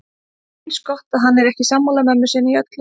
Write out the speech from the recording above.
Eins gott að hann er ekki sammála mömmu sinni í öllu.